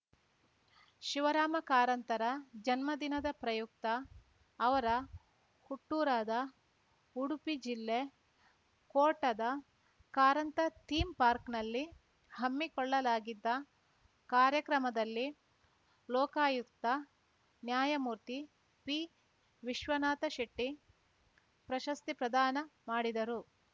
ಶಿವರಾಮ ಕಾರಂತರ ಜನ್ಮದಿನದ ಪ್ರಯುಕ್ತ ಅವರ ಹುಟ್ಟೂರಾದ ಉಡುಪಿ ಜಿಲ್ಲೆ ಕೋಟದ ಕಾರಂತ ಥೀಮ್‌ ಪಾರ್ಕ್ನಲ್ಲಿ ಹಮ್ಮಿಕೊಳ್ಳಲಾಗಿದ್ದ ಕಾರ್ಯಕ್ರಮದಲ್ಲಿ ಲೋಕಾಯುಕ್ತ ನ್ಯಾಯಮೂರ್ತಿ ಪಿವಿಶ್ವನಾಥ ಶೆಟ್ಟಿಪ್ರಶಸ್ತಿ ಪ್ರದಾನ ಮಾಡಿದರು